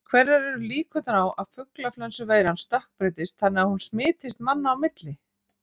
Hverjar eru líkurnar á að fuglaflensuveiran stökkbreytist þannig að hún smitist manna á milli?